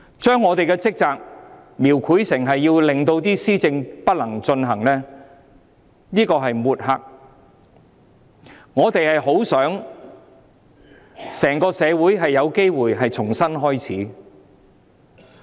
將我們的職責描繪成阻礙施政，這是抹黑，我們希望整個社會有機會重新開始。